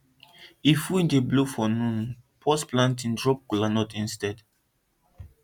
if wind dey howl for noon pause planting drop kola nut instead